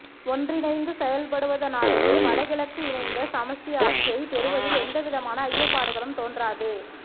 ஒன்றிணைந்து செயற்படுவதனாலேயே வடகிழக்கு இணைந்த சமஸ்டி ஆட்சியைப் பெறுவதில் எந்தவிதமான ஐயப்பாடுகளும் தோன்றாது